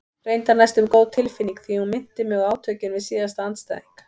Reyndar næstum góð tilfinning því hún minnti mig á átökin við síðasta andstæðing.